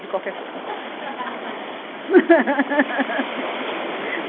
De qualquer cor.